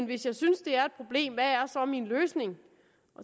hvis jeg synes det er et problem hvad er så min løsning